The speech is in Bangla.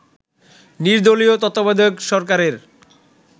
নির্দলীয় তত্ত্বাবধায়ক সরকারের